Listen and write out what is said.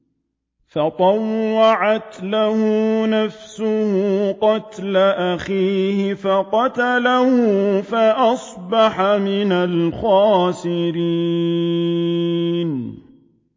فَطَوَّعَتْ لَهُ نَفْسُهُ قَتْلَ أَخِيهِ فَقَتَلَهُ فَأَصْبَحَ مِنَ الْخَاسِرِينَ